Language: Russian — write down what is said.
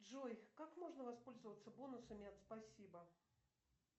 джой как можно воспользоваться бонусами от спасибо